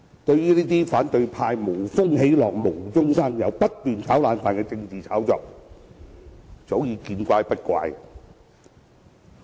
對於反對派這些無風起浪、無中生有及不斷"炒冷飯"的政治炒作，早已見怪不怪。